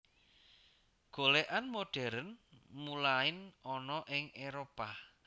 Golèkan modern mulain ana ing Éropah